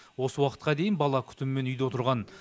осы уақытқа дейін бала күтімімен үйде отырған